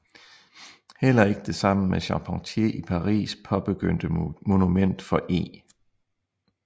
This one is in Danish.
Heller ikke det sammen med Charpentier i Paris paabegyndte Monument for E